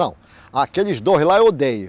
Não, aqueles dois lá eu odeio.